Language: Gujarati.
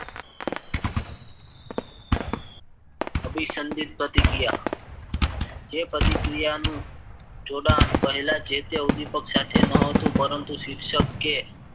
અભિસંદિત પ્રતિક્રિયા જે પ્રતિક્રિયાનું જોડાણ પહેલા જે તે ઉદ્વિપક સાથે ન હતું પરંતુ શિક્ષકે કે